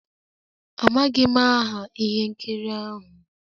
Amaghị m aha ihe nkiri ahụ.